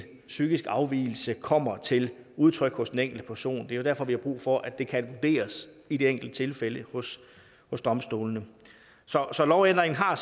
psykisk afvigelse kommer til udtryk hos den enkelte person det er derfor vi har brug for at det kan vurderes i det enkelte tilfælde hos domstolene så lovændringen har